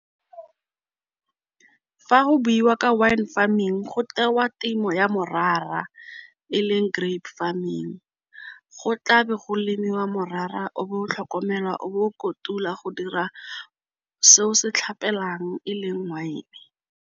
Fa go buiwa ka wine farming go tewa temo ya morara eleng grape farming. Go tla be go lemiwa morara o bo tlhokomelwa o bo o kotulwa go dira seo se e leng wine.